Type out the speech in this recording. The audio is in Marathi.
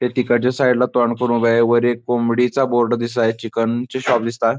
ते तिकडच्या साईड ला तोंड करून उभे आहे व एक कोंबडीचा बोर्ड दिसत आहे चिकन चे शॉप दिसता --